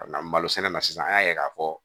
malo sɛnɛ na sisan an y'a ye k'a fɔ